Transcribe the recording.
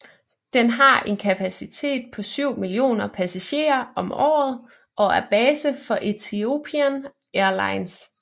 Den har en kapacitet på 7 mio passagerer om året og er base for Ethiopian Airlines